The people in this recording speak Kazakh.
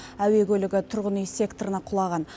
әуе көлігі тұрғын үй секторына құлаған